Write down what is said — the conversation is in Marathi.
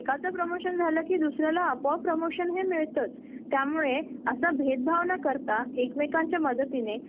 एकाला पुढे आणि आणि एकाला मागे अस कधीच करत नाही पुरुष आणि स्री हे कामाच्या ठिकाणी रथाच्या चाकासारखे च आहे